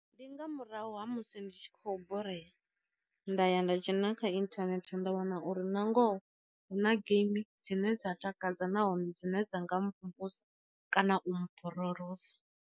Ndi nga murahu ha musi ndi tshi khou borea nda ya nda dzhena kha inthanethe nda wana uri nangoho hu na geimi dzine dza takadza nahone dzine dza nga mvumvusa kana u mborolosa.